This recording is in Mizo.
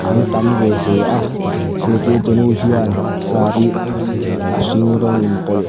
an tam ve hle a zirtir tu nu hian saree eng leh a hring rawng inpawlh--